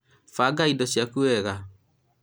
banga ido cĩaku wega